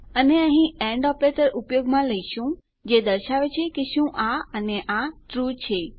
અને અહીં and operator ઉપયોગમાં લઇશું જે દર્શાવે છે કે શું આ અને આ ટ્રૂ છે